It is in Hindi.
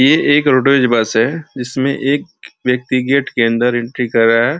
ये एक रोडवेज बस है जिसमें एक व्यक्ति गेट के अंदर एंट्री कर रहा है।